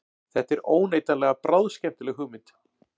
Þetta er óneitanlega bráðskemmtileg hugmynd